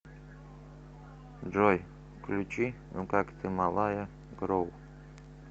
джой включи ну как ты малая грув